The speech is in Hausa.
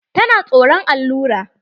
Tana tsoran allura.